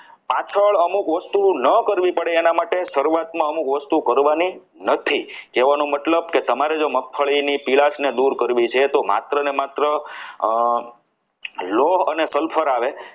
પાછળ અમુક વસ્તુઓ ન કરવી પડે તેના માટે શરૂઆતમાં અમુક વસ્તુઓ કરવાની નથી એનો મતલબ કે તમારે જો મગફળી ની પીળાશને દૂર કરવી છે તો માત્ર ને માત્ર લોહ અને sulphur આવે